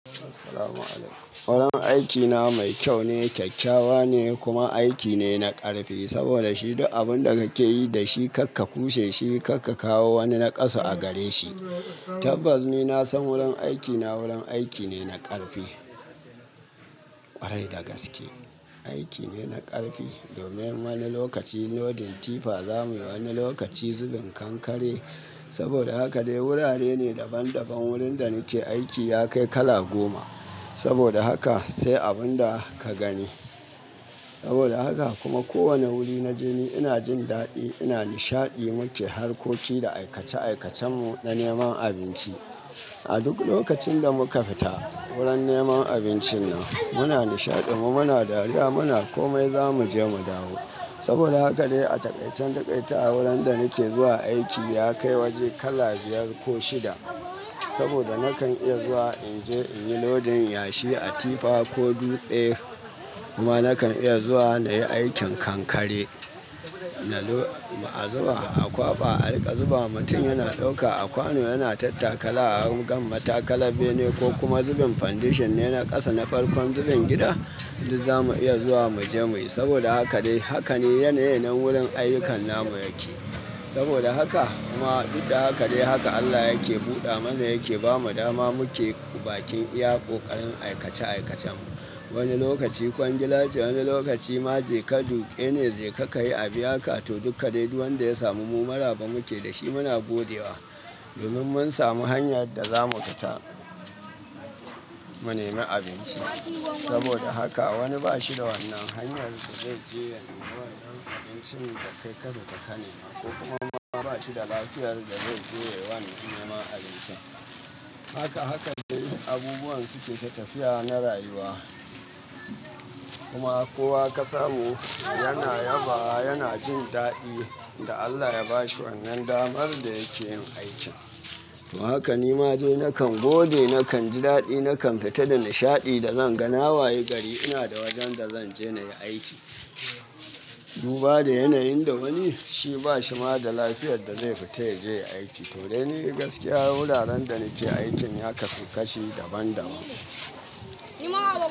Assalamu'alaikum. Wurin aikina mai kyau ne, kyakkyawa ne kuma aiki ne na ƙarfi. Saboda shi duk abin da kakeyi dashi kakka kushe shi, kakka kawo wani naqasu agareshi. Tabbas ni nasan wurin aikina wurin aiki ne na ƙarfi. Kwarai da gaske, aiki ne na ƙarfi. Domin wani lokaci loading tifa, za muyi wani lokaci zubin kankare. Saboda haka dai wurare ne daban daban. Wurin da nake aiki ya kai kala goma. Saboda haka sai abun da ka gani. Saboda haka kuma kowane wuri na jeni, ina jin daɗi, ina nishaɗi muke harkoki da aikace aikacen mu na neman abinci. A duk lokacin da muka futa wurin neman abincin nan, muna nishaɗin mu muna dariya muna komai zamuje mu dawo. Saboda haka dai a taƙaicin taƙaitawa wurin da nake zuwa aiki ya kai waje kala biyar ko shida. Saboda nakan iya zuwa in je in yi lodin yashi a tifa ko dutse. Kuma nakan iya zuwa na yi aikin kankare. Na lo-- a zuba a kwaba, a riƙa zuba mutum yana ɗauka a kwano yana tattaka la'akan mata kala bene ko kuma zubin foundation ne na ƙasa, na farkon zubin gida, duk za mu iya zuwa mu je muyi. Saboda haka dai haka ne yanayin wurin ayyukan namu yake. Saboda haka kuma duk da haka dai haka Allah yake buɗa mana yake bamu dama muke bakin iya ƙoƙarin aikace aikacen, wani lokacin kwangila ce, wani lokaci ma jeka duƙe ne, jeka kayi abiyaka, to duka dai duk wanda ya samu mu mu maraba muke dashi mu muna godewa. Domin mun samu hanyar da za mu fita mu nemi abinci. Saboda haka wani ba shi da wannan hanyar da zai je ya nemi wayar abincin da kai kasa takane ma ko kuma wani ba shi da lafiyar da zai je wani ya nemi abinci. Haka haka dai abubuwan suke tafiya na rayuwa. Kuma kowa ka samu yana yaba yana jin daɗin da Allah ya ba shi wannan damar da yake yin aikin. Don haka nima dai nakan gode, nakan ji daɗi nakan fita da nishaɗi da zanga na wayi gari ina da wajen da zanje nayi aiki. Duba da yanayin da wani shi ba shi ma da lafiyar da zai fita ya je ya aiki. To dai ni gaskiya wuraren da nake aikin ya kasu kashi daban daban.